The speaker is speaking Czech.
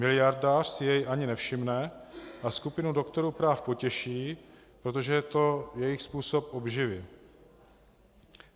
Miliardář si jej ani nevšimne a skupinu doktorů práv potěší, protože je to jejich způsob obživy.